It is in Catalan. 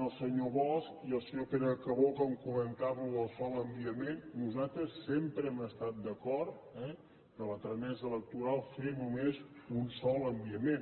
al senyor bosch i el senyor pere calbó que comentaven això d’un sol enviament nosaltres sempre hem estat d’acord a la tramesa electoral a fer només un sol enviament